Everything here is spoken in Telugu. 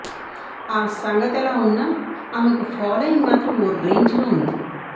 ఆ సంగతెలా ఉన్నా ఆమెకు ఫాలోయింగ్ మాత్రం ఓ రేంజ్లో ఉంది